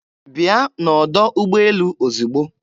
Bịa n'ọdọ ụgbọelu ozigbo!